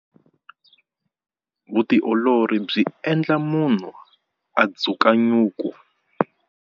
Vutiolori byi endla munhu a dzuka nyuku.